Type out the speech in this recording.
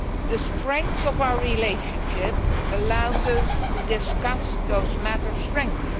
The strength of our relationship allows us to discuss those matters frankly.